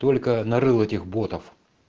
только нарыла этих ботов